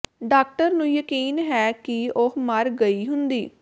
doctor ਨੂੰ ਯਕੀਨ ਹੈ ਕਿ ਉਹ ਮਰ ਗਈ ਹੁੰਦੀ